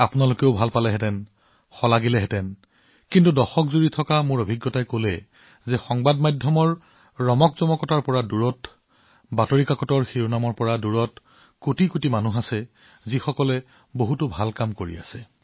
আপোনালোকেও এইটো ভাল পালেহেঁতেন আপোনালোকেও ইয়াক প্ৰশংসা কৰিলেহেঁতেন কিন্তু এইটো মোৰ দশকৰ অভিজ্ঞতা যে সংবাদ মাধ্যমৰ চিকমিকনিৰ পৰা আঁতৰত বাতৰি কাকতৰ শিৰোনামৰ পৰা আঁতৰত থাকি বহুতো লোক আছে যিয়ে যথেষ্ট ভাল কাম কৰি আছে